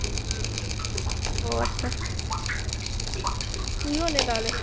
ওহ আচ্ছা তুই যে তাহলে